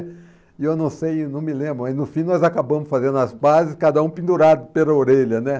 E eu não sei, não me lembro, mas no fim nós acabamos fazendo as pazes, cada um pendurado pela orelha, né?